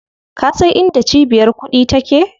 Ka san inda cibiyar kuɗi take?